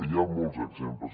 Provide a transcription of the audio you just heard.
hi ha molts exemples